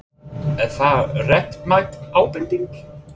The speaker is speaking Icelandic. Er það réttmæt ábending?